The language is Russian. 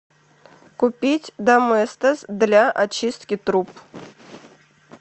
купить доместос для очистки труб